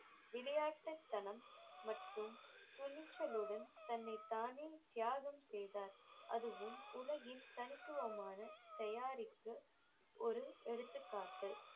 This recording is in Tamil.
விளையாட்டுத்தனம் மற்றும் துணிச்சலுடன் தன்னைத்தானே தியாகம் செய்தார் அதுவும் உலகின் தனித்துவமான தயாரிப்பு ஒரு எடுத்துக்காட்டு